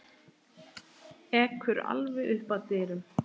Ekur alveg upp að dyrum.